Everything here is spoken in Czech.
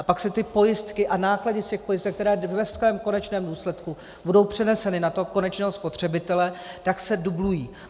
A pak se ty pojistky a náklady z těch pojistek, které ve svém konečném důsledku budou přeneseny na toho konečného spotřebitele, tak se dublují.